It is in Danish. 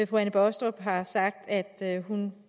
fru anne baastrup har sagt at hun